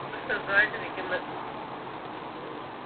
സുഖായിട്ടിരിക്കുന്നു